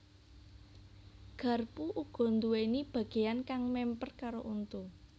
Garpu uga nduwèni bagéyan kang mèmper karo untu